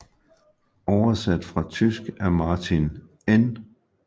Oversat fra tysk af Martin N